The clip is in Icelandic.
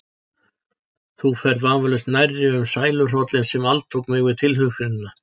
Þú ferð vafalaust nærri um sæluhrollinn sem altók mig við tilhugsunina.